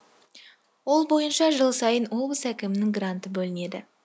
ол бойынша жыл сайын облыс әкімінің гранты бөлінеді